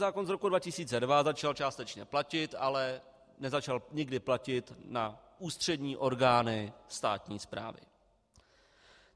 Zákon z roku 2002 začal částečně platit, ale nezačal nikdy platit na ústřední orgány státní správy.